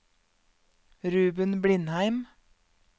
Ruben Blindheim